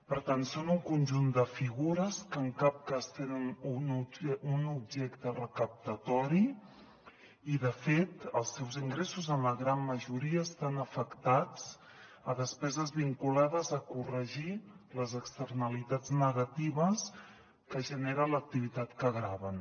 per tant són un conjunt de figures que en cap cas tenen un objecte recaptatori i de fet els seus ingressos en la gran majoria estan afectats a despeses vinculades a corregir les externalitats negatives que genera l’activitat que graven